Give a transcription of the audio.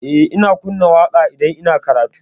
Eh, ina kunna waƙa idan ina karatu.